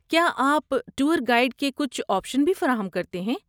کیا آپ tour guide کے کچھ آپشن بھی فراہم کرتے ہیں؟